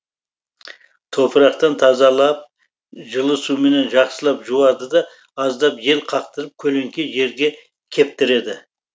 топырақтан тазалап жылы суменен жақсылап жуады да аздап жел қақтырып көлеңке жерде кептіреді